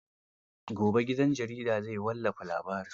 Gobe gidan jaridar zai wallafa labarin.